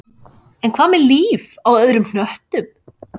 En hvað með líf á öðrum hnöttum?